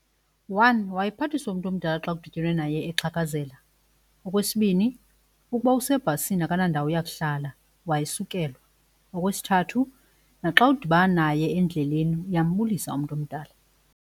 One wayephathiswa umntu omdala xa kudityenwe naye exhakazela. Okwesibini ukuba usebhasini akanandawo yakuhlala wayesukelwa. Okwesithathu naxa udibana naye endleleni uyambulisa umntu omdala.